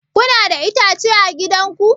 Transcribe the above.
Kuna da itace a gidan ku?